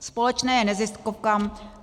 Společné neziskovkám.